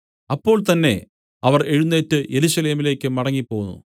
അപ്പോൾ തന്നേ അവർ എഴുന്നേറ്റ് യെരൂശലേമിലേക്കു മടങ്ങിപ്പോന്നു